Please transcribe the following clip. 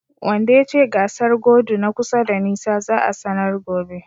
Wanda yace gasar godu na kusa da nisa za'a sanar gobe.